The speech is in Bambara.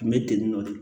N bɛ tentɔ de